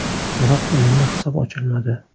Biroq o‘yinda hisob ochilmadi.